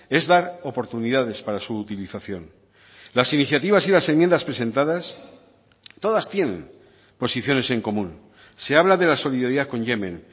es dar oportunidades para su utilización las iniciativas y las enmiendas presentadas todas tienen posiciones en común se habla de la solidaridad con yemen